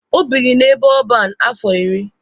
O biri n'ebe ọban afọ iri.